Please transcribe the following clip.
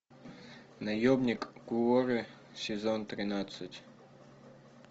наемник куорри сезон тринадцать